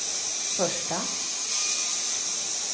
första